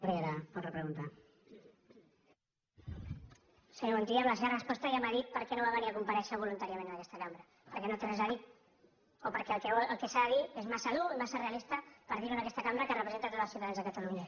senyor montilla amb la seva resposta ja m’ha dit per què no va venir a comparèixer voluntàriament en aquesta cambra perquè no té res a dir o perquè el que s’ha de dir és massa dur i massa realista per dir ho en aquesta cambra que representa tots els ciutadans de catalunya